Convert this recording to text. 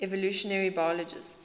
evolutionary biologists